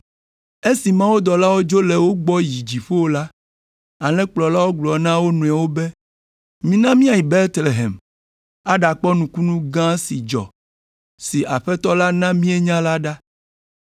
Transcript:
Esi mawudɔlawo dzo le wo gbɔ yi dziƒo la, alẽkplɔlawo gblɔ na wo nɔewo be, “Mina míayi Betlehem aɖakpɔ nukunu gã si dzɔ, si Aƒetɔ la na míenya la ɖa.”